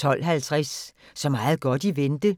12:50: Så meget godt i vente